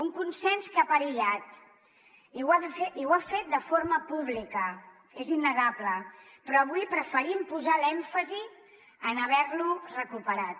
un consens que ha perillat i ho ha fet de forma pública és innegable però avui preferim posar l’èmfasi en haver lo recuperat